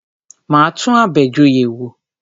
Máa tún Abejoye wò.